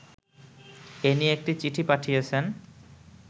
এ নিয়ে একটি চিঠি পাঠিয়েছেন